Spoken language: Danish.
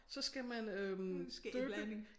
Så skal man øh dyppe